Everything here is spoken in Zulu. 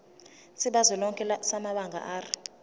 sikazwelonke samabanga r